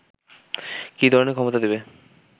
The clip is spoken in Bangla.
কি ধরনের ক্ষমতা দেবে